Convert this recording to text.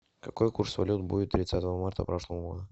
какой курс валют будет тридцатого марта прошлого года